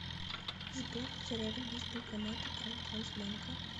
сбер где рядом есть банкоматы промтрансбанка